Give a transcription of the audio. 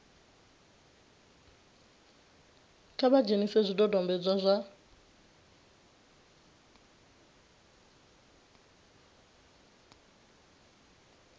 kha vha dzhenise zwidodombedzwa zwa